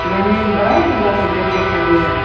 यहां में बड़ा वाला दिखाई दे रहा है।